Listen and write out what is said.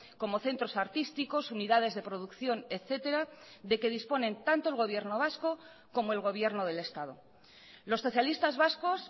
como centros artísticos unidades de producción etcétera de que disponen tanto el gobierno vasco como el gobierno del estado los socialistas vascos